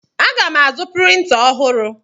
Aga m azụ printa ọhụrụ.